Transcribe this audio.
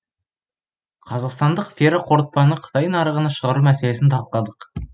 қазақстандық ферроқорытпаны қытай нарығына шығару мәселесін талқыладық